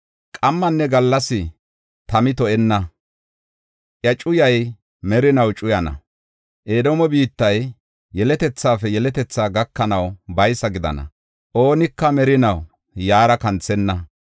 Qammanne gallas tamay to77enna; iya cuyay merinaw cuyana. Edoome biittay yeletethaafe yeletethaa gakanaw baysa gidana; oonika merinaw yaara kanthenna.